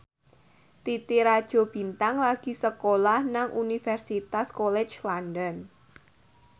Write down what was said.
Titi Rajo Bintang lagi sekolah nang Universitas College London